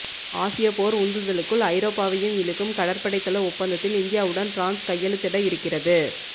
ஆசிய போர் உந்துதலுக்குள் ஐரோப்பாவையும் இழுக்கும் கடற்படைத்தள ஒப்பந்தத்தில் இந்தியாவுடன் பிரான்ஸ் கையெழுத்திட இருக்கிறது